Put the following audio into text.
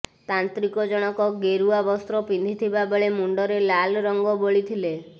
ତାନ୍ତ୍ରିକ ଜଣକ ଗେରୁଆ ବସ୍ତ୍ର ପିନ୍ଧିଥିବା ବେଳେ ମୁଣ୍ଡରେ ଲାଲ ରଂଗ ବୋଳିଥିଲେ